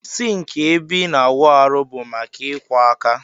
Sink ebe ina awụ arụ bu maka ikwọ aka.